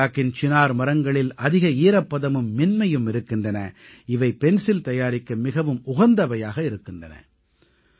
பள்ளத்தாக்கின் சினார் மரங்களில் அதிக ஈரப்பதமும் மென்மையும் இருக்கின்றன இவை பென்சில் தயாரிக்க மிகவும் உகந்தவையாக இருக்கின்றன